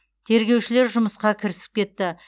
тергеушілер жұмысқа кірісіп кетті